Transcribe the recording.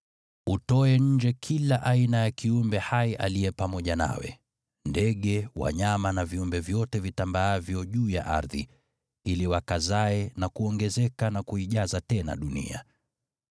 Utoe nje kila aina ya kiumbe hai aliye pamoja nawe: Ndege, wanyama na viumbe vyote vitambaavyo juu ya ardhi, ili wakazae, na kuongezeka na kuijaza tena dunia.”